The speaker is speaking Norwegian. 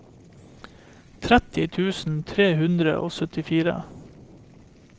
tretti tusen tre hundre og syttifire